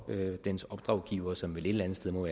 dens opdragsgivere som vel et eller andet sted må